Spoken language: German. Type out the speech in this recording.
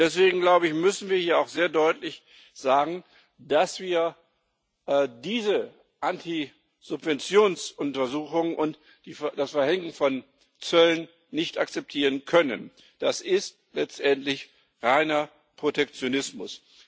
Deswegen müssen wir auch sehr deutlich sagen, dass wir diese Antisubventionsuntersuchungen und das Verhängen von Zöllen nicht akzeptieren können. Das ist letztendlich reiner Protektionismus!